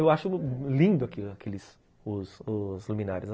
Eu acho lindo aqueles aqueles... os os luminárias.